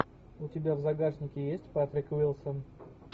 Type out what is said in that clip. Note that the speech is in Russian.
у тебя в загашнике есть патрик уилсон